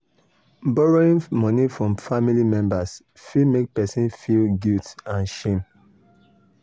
borrowing money from family members fit make person feel guilt and shame.